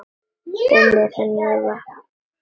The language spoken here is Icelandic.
Og með mér vaknar grunur.